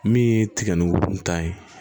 Min ye tiga ni woro ta ye